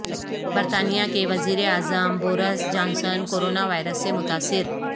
برطانیہ کے وزیر اعظم بورس جانسن کورونا وائرس سے متاثر